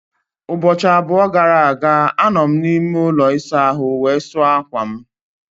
Ụbọchị abụọ gara aga, anọ m n'ime ụlọ ịsa ahụ wee sụọ akwa m.